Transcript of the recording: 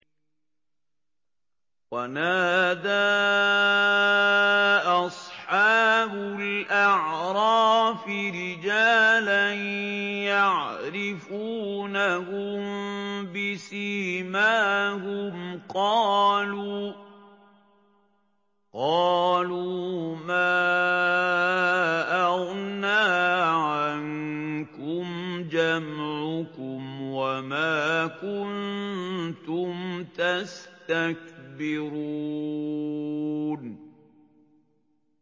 وَنَادَىٰ أَصْحَابُ الْأَعْرَافِ رِجَالًا يَعْرِفُونَهُم بِسِيمَاهُمْ قَالُوا مَا أَغْنَىٰ عَنكُمْ جَمْعُكُمْ وَمَا كُنتُمْ تَسْتَكْبِرُونَ